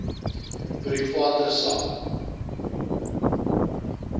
private sak